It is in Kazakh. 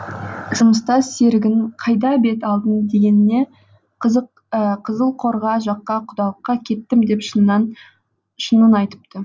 жұмыстас серігінің қайда бет алдың дегеніне қызылқоға жаққа құдалыққа кеттім деп шынын айтыпты